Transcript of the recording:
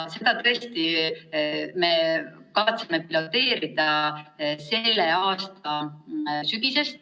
Seda me kavatseme piloteerida selle aasta sügisest.